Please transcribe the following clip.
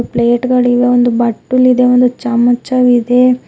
Plate ಗಳಿವೆ ಒಂದು ಬಟ್ಟುಲಿದೆ ಚಮಚವಿದೆ.